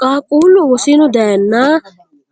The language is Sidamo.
qaaqquullu wosinu dayeenna